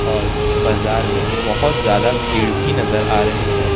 और बाजार में बहुत ज्यादा भीड़ भी नजर आ रही है।